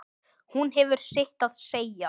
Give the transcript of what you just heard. Hún hefur sitt að segja.